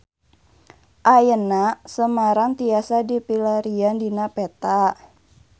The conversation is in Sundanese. Ayeuna Semarang tiasa dipilarian dina peta